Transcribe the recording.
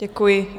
Děkuji.